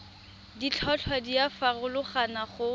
ditlhotlhwa di a farologana go